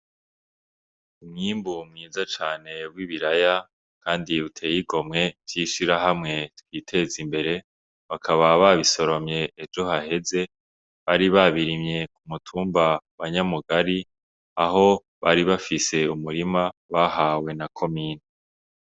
Umwimbu mwiza cane w'ibiraya Kandi uteye igomwe, vy'ishirahamwe twitezimbere, bakaba babisoromye ejo haheze ,bari babirimye k'umutumba wa Nyamugari, aho bari bafise umurima bahawe na komine.